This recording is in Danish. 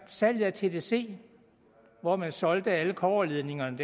salget af tdc hvor man solgte alle kobberledningerne